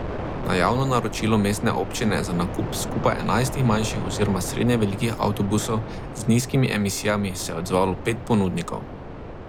Na javno naročilo mestne občine za nakup skupaj enajstih manjših oziroma srednje velikih avtobusov z nizkimi emisijami se je odzvalo pet ponudnikov.